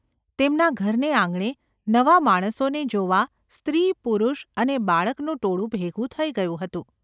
તેમના ઘરને આંગણે નવા માણસોને જોવા સ્ત્રી, પુરુષ અને બાળકનું ટોળું ભેગું થઈ ગયું હતું.